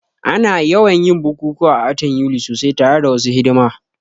Ana yawan yin bukukuwa a watan Yuli sosai tare da wasu hidima